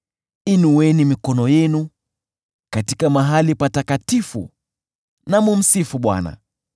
Inueni mikono yenu katika pale patakatifu na kumsifu Bwana .